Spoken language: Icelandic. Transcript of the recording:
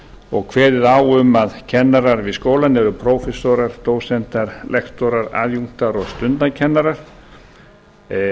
og kveðið á um að kennarar við skólann eru prófessorar dósentar lektorar aðjunktar og stundakennarar þar